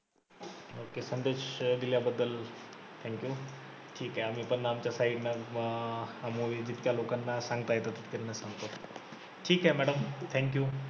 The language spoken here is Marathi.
ok दिल्याबद्दल thank you ठिके आम्ही पण आमच्या side ने अं हा movie जितक्या लोकांना सांगता येतं तितक्यांना सांगतो. ठिके madam thank you